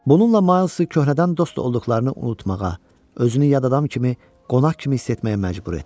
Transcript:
Bununla Maı köhrədən dost olduqlarını unutmağa, özünü yad adam kimi, qonaq kimi hiss etməyə məcbur etdi.